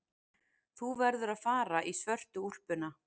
Þú verður að fara í svörtu úlpuna.